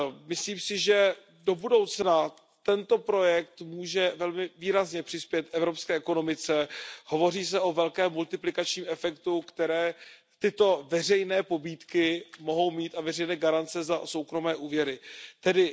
Myslím si, že do budoucna může tento projekt velmi výrazně přispět k evropské ekonomice, hovoří se o velkém multiplikačním efektu, který tyto veřejné pobídky a veřejné garance za soukromé úvěry mohou mít.